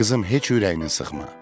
Qızım, heç ürəyini sıxma.